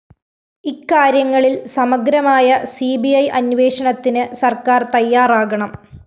ഇക്കാര്യങ്ങളില്‍ സമഗ്രമായ C B I അന്വേഷണത്തിന് സര്‍ക്കാര്‍ തയ്യാറാകണം